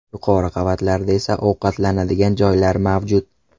Yuqori qavatlarda esa ovqatlanadigan joylar mavjud.